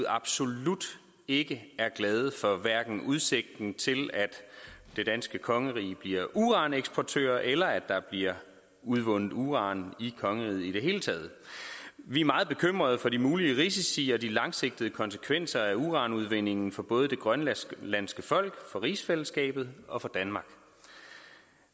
absolut ikke er glade for hverken udsigten til at det danske kongerige bliver uraneksportør eller at der bliver udvundet uran i kongeriget i det hele taget vi er meget bekymret for de mulige risici og de langsigtede konsekvenser af uranudvindingen for både det grønlandske folk for rigsfællesskabet og for danmark